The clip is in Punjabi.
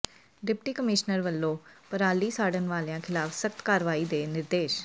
ਡਿਪਟੀ ਕਮਿਸ਼ਨਰ ਵੱਲੋਂ ਪਰਾਲੀ ਸਾੜਨ ਵਾਲਿਆਂ ਖ਼ਿਲਾਫ਼ ਸਖ਼ਤ ਕਾਰਵਾਈ ਦੇ ਨਿਰਦੇਸ਼